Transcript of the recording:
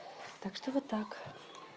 так что вот так